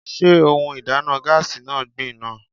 Sé ohun ìdáná gáásì náà gbin ná?